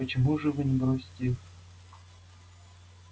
почему же вы не бросите их